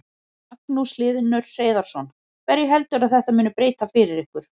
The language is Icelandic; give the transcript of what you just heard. Magnús Hlynur Hreiðarsson: Hverju heldurðu að þetta muni breyta fyrir ykkur?